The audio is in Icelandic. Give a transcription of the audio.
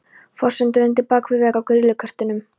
Fossinn drundi bak við vegg úr grýlukertum.